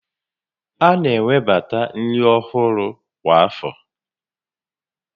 A na-ewebata nri ọhụrụ kwa afọ